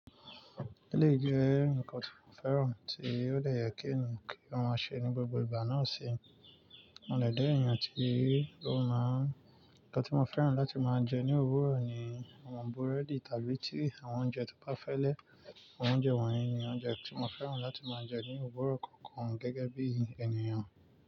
Eleyii jẹ́ ǹnkan tí mo fẹ́ràn tí ó de yẹ kí eeyan ki o máa ṣe ní gbogbo ìgbà náà ṣi mo lè jẹ ènìyàn tí ó máa ǹkan tí mo fẹ́ràn láti máa jẹ ní òwúrọ̀ ni àwọn búrẹ́dì tàbí tea àwọn oúnjẹ tó bá fẹ́lẹ́. Àwọn oúnjẹ wọ̀nyí ni oúnjẹ tí mo fẹ́ràn láti máa jẹ ní òwúrọ̀ kankan gẹ́gẹ́ bí ènìyàn.